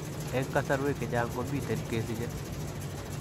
Eng' kasarwek chechang' komiten kesiche .